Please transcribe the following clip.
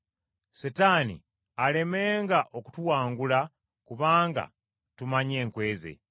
Setaani alemenga okutuwangula, kubanga tumanyi enkwe ze.